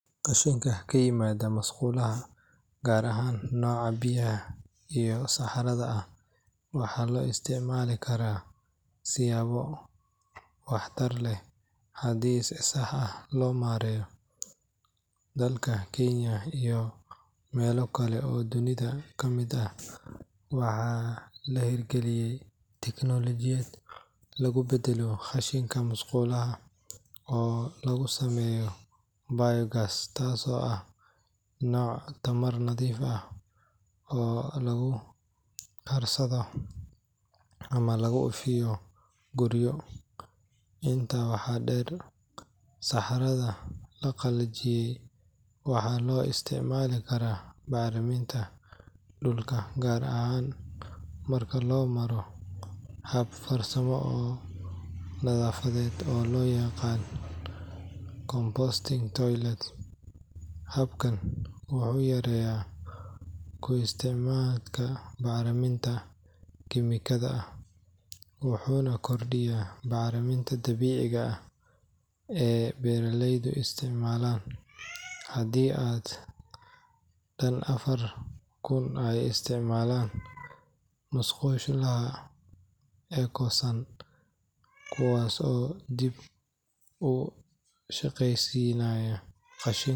Qashinka ka yimaada musqulaha, gaar ahaan nooca biyaha iyo saxarada ah, waxaa loo isticmaali karaa siyaabo waxtar leh haddii si sax ah loo maareeyo. Dalka Kenya iyo meelo kale oo dunida ka mid ah, waxaa la hirgaliyay tiknoolajiyad lagu beddelo qashinka musqulaha oo laga sameeyo biogas taasoo ah nooc tamar nadiif ah oo lagu karsado ama lagu ifiyo guryo. Intaa waxaa dheer, saxarada la qalajiyay waxaa loo isticmaali karaa bacriminta dhulka, gaar ahaan marka loo maro hab farsamo oo nadaafadeed oo loo yaqaan composting toilets. Habkan wuxuu yareeyaa ku tiirsanaanta bacriminta kiimikada ah, wuxuuna kordhiyaa bacrinta dabiiciga ah ee beeraleydu isticmaalaan. Haddii dad dhan afar kun ay isticmaalaan musqulaha eco-san kuwaas oo dib u shaqeysiinaya qashinka,